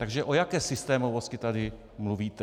Takže o jaké systémovosti tady mluvíte?